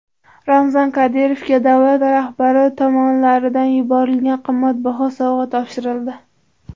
Ramzan Qodirovga davlat rahbari tomonidan yuborilgan qimmatbaho sovg‘a topshirildi.